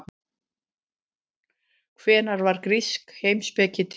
Hvenær varð grísk heimspeki til?